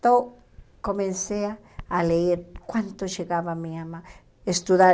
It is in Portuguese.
Então, comecei a ler quanto chegava a minha mãe. Estudar